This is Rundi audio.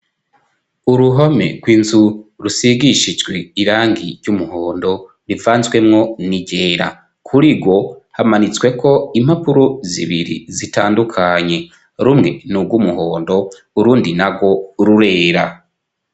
Uruhome rw'inzu rusigishijwe irangi ry'umuhondo rivanzwemwo n'iryera. Kuri rwo hamanitsweko impapuro zibiri zitandukanye. Rumwe ni urw'umuhondo, urundi narwo rurera.